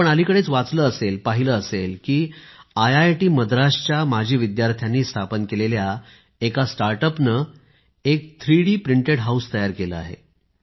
आपण अलीकडेच वाचले असेल पहिले असेल की आयआयटी मद्रास च्या माजी विद्यार्थ्यानी स्थापन केलेल्या एक स्टार्टअप ने एक थ्रीडी प्रिंटेड हाऊस तयार केले आहे